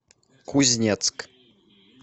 кузнецк